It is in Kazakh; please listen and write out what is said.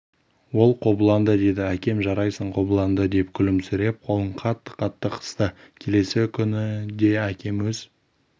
ол қобыланды деді әкем жарайсың қобыланды деп күлімсіреп қолын қатты-қатты қысты келесі күні де әкем өз